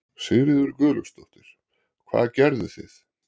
Sigríður Guðlaugsdóttir: Hvað gerðuð þið?